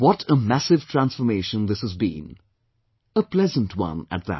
What a massive transformation this has been; a pleasant one at that